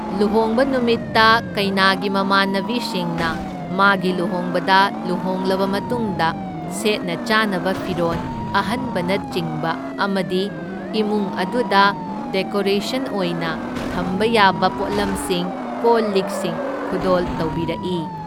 ꯂꯨꯍꯣꯡꯕ ꯅꯨꯃꯤꯠꯇ ꯀꯩꯅꯥꯒꯤ ꯃꯃꯥꯟꯅꯕꯤꯁꯤꯡꯅ ꯃꯥꯒꯤ ꯂꯨꯍꯣꯡꯕꯗ ꯂꯨꯍꯣꯡꯂꯕ ꯃꯇꯨꯡꯗ ꯁꯦꯠꯅ ꯆꯥꯅꯕ ꯐꯤꯔꯣꯟ ꯑꯍꯟꯕꯅꯆꯤꯡꯕ ꯑꯃꯗꯤ ꯏꯃꯨꯡ ꯑꯗꯨꯗ ꯗꯦꯀꯣꯔꯦꯁꯟ ꯑꯣꯏꯅ ꯊꯝꯕ ꯌꯥꯕ ꯄꯣꯠꯂꯝꯁꯤꯡ ꯀꯣꯜ ꯂꯤꯛꯁꯤꯡ ꯈꯨꯗꯣꯜ ꯇꯧꯕꯤꯔꯛꯢ꯫